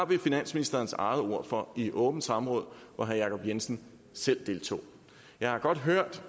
vi finansministerens eget ord for i et åbent samråd hvor herre jacob jensen selv deltog jeg har godt hørt